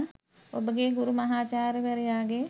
ඔබගේ ගුරු මහාචාර්යවරයාගේ